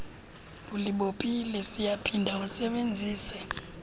ulibophile siyaphinda wasebenzise